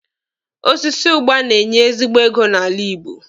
Osisi ụgba na-enye ezigbo ego n'ala Igbo.